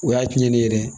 O y'a tiɲɛnen yɛrɛ ye